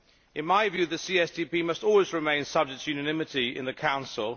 In my view, the CSDP must always remain subject to unanimity in the Council.